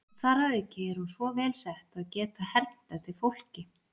Þar að auki er hún svo vel sett að geta hermt eftir fólki.